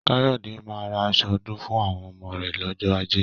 Káyọ̀dé máa ra asọ ọdún fún àwọn ọmọ rẹ̀ lọ́jọ́ ajé